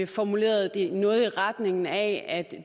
formulerede det noget i retning af at